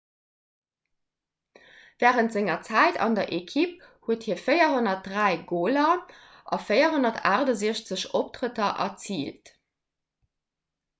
wärend senger zäit an der ekipp huet hie 403 goler a 468 optrëtter erziilt